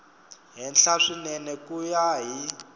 henhla swinene ku ya hi